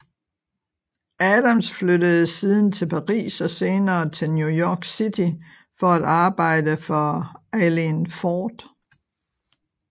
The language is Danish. Adams flyttede siden til Paris og senere til New York City for at arbejde for Eileen Ford